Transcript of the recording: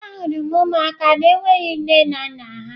Ahụrụ m ụmụaka na-enweghị nne na nna ha.